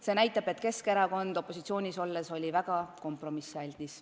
See näitab, et Keskerakond oli opositsioonis olles väga kompromissialdis.